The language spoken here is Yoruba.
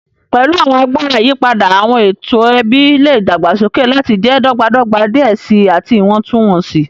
Pẹlu awọn agbara iyipada, awọn eto ẹbi le dagbasoke lati jẹ dọgbadọgba diẹ sii ati iwọntunwọnsi.